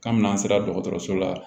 Kabini n'an sera dɔgɔtɔrɔso la